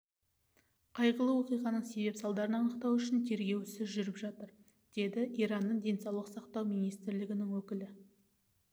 қайғылы оқиғаның себеп-салдарын анықтау үшін тергеу ісі жүріп жатыр деді иранның денсаулық сақтау министрлігінің өкілі